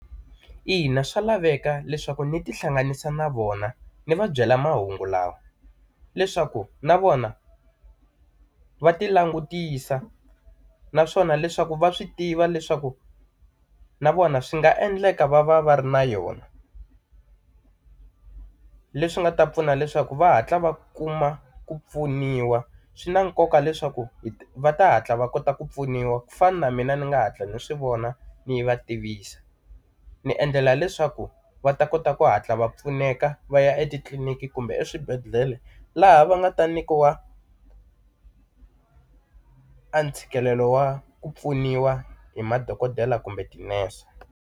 Ina, swa laveka leswaku ni ti hlanganisa na vona ndzi va byela mahungu lawa, leswaku na vona va ti langutisa naswona leswaku va swi tiva leswaku na vona swi nga endleka va va va ri na yona leswi nga ta pfuna leswaku va hatla va kuma ku pfuniwa. Swi na nkoka leswaku va ta hatla va kota ku pfuniwa, ku fana na mina ni nga hatla ni swi vona ni va tivisa. Ni endlela leswaku va ta kota ku hatla va pfuneka va ya etitliliniki kumbe eswibedhlele laha va nga ta nyikiwa a ntshikelelo wa ku pfuniwa hi madokodela kumbe tinese.